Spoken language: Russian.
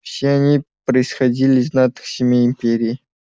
все они происходили из знатных семей империи